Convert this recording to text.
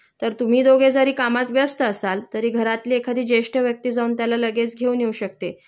तर तुम्ही दोघे जरी कामात व्यस्त असाल तरी घरातली एखादी जेष्ठ व्यक्ती जाऊन त्याला लगेच घेऊन येऊ शकते